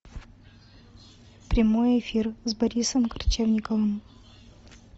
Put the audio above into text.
прямой эфир с борисом корчевниковым